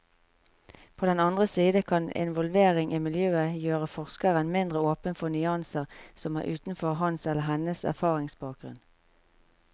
På den andre side kan involvering i miljøet gjøre forskeren mindre åpen for nyanser som er utenfor hans eller hennes erfaringsbakgrunn.